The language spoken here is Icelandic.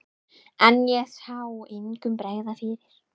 En ég sá engum bregða fyrir.